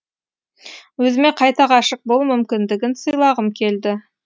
өзіме қайта ғашық болу мүмкіндігін сыйлағым келді